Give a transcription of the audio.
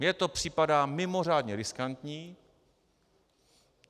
Mně to připadá mimořádně riskantní.